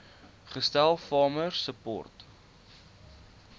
gestel farmer support